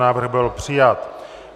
Návrh byl přijat.